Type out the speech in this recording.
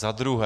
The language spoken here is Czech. Za druhé.